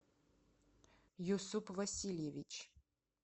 юсуп васильевич